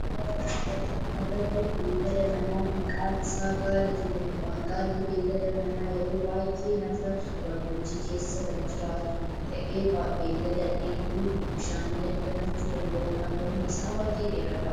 Suuraa kana irratti kan agarru beellada manaa maqaan isaa gaala jedhamudha. Gaalli beellada manaa yeroo baayyee lafa gammoojii keessa kan jiraatu ta'ee beellada dheebuu bishaanii dandamachuu danda'udha. Mormi isaa baayyee dheeradha.